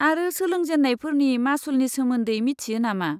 आरो सोलोंजेन्नायफोरनि मासुलनि सोमोन्दै मिथियो नामा?